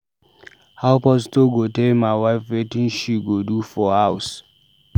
How pastor go dey tell my wife wetin she go do for house?